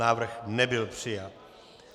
Návrh nebyl přijat.